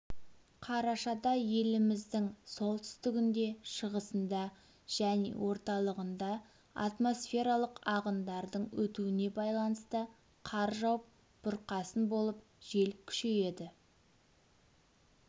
қарашада еліміздің солтүстігінде шығысында және орталығында атмосфералық ағындардың өтуіне байланысты қар жауып бұрқасын болып жел күшейеді